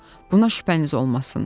Buna şübhəniz olmasın.